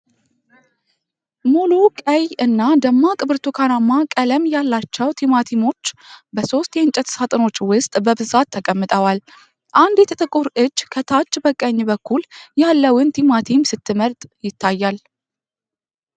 ሙሉ፣ ቀይ እና ደማቅ ብርቱካናማ ቀለም ያላቸው ቲማቲሞች በሦስት የእንጨት ሳጥኖች ውስጥ በብዛት ተቀምጠዋል። አንዲት ጥቁር እጅ ከታች በቀኝ በኩል ያለውን ቲማቲም ስትመርጥ ይታያል።